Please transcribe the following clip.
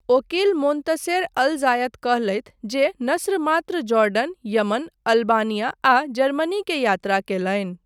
ओकील Montaser al Zayat कहलथि जे नस्र मात्र जॉर्डन, यमन, अल्बानिया आ जर्मनी के यात्रा कयलनि।